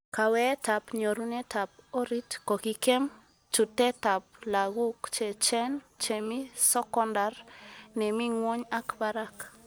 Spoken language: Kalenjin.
Kaweetab nyorunetab orit kokikem chutetab laguk cheechen-chemi sokondar nemi ngwony ak barak